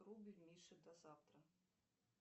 рубль мише до завтра